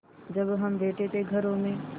जब हम बैठे थे घरों में